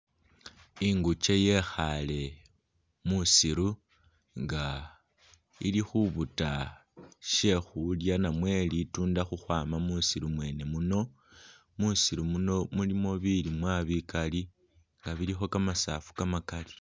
Ingukye yekhale musiru nga ili khubuta shekhulya namwe litunda ukhwama musiru mwene muno ,musiru muno mulimo bilimwa bikali nga bilikho kamasafu kamalali .